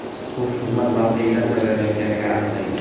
o‘z xizmat mavqeyidan foydalanayotgani aniqlangan.